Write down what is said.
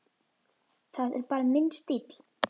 Það er bara minn stíll.